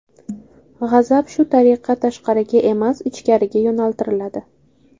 G‘azab shu tariqa tashqariga emas, ichkariga yo‘naltiriladi.